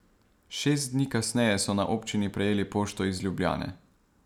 Šest dni kasneje so na občini prejeli pošto iz Ljubljane.